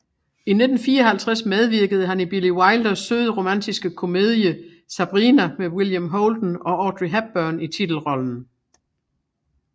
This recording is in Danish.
I 1954 medvirkede han i Billy Wilders søde romantiske komedie Sabrina med William Holden og med Audrey Hepburn i titelrollen